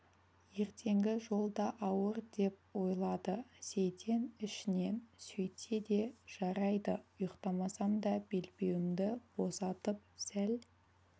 ертеңгі жол да ауыр деп ойлады сейтен ішінен сөйтсе де жарайды ұйықтамасам да белбеуімді босатып сәл